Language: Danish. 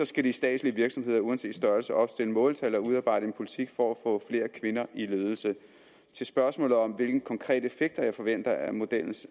skal de statslige virksomheder uanset størrelse opstille måltal og udarbejde en politik for at få flere kvinder i ledelse til spørgsmålet om hvilke konkrete effekter jeg forventer af modellen